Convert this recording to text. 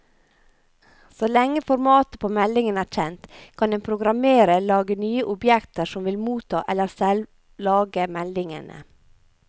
Så lenge formatet på meldingen er kjent, kan en programmerer lage nye objekter som vil motta eller selv lage meldingene.